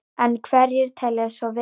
En hverjir telji svo vera?